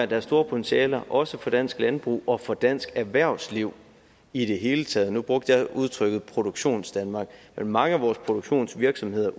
der er store potentialer i også for dansk landbrug og for dansk erhvervsliv i det hele taget nu brugte jeg udtrykket produktionsdanmark men mange af vores produktionsvirksomheder